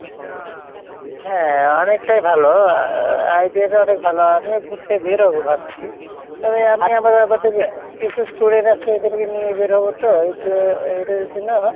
হ্যাঁ অনেকটাই ভালো আহ idea টা অনেক ভালো আমিও ঘুরতে বেরোবো ভাবছি, তবে আমি কিসু student আছে ওদের কে নিয়ে বের হবো তো এইযে এদের জন্য